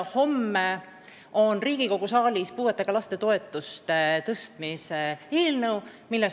Homme on Riigikogu saalis puuetega laste toetuste tõstmise eelnõu.